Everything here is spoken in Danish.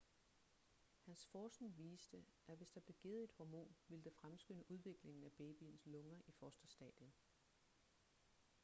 hans forskning viste at hvis der blev givet et hormon ville det fremskynde udviklingen af babyens lunger i fosterstadiet